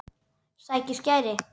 Sækir skæri.